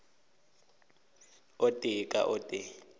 o tee ka o tee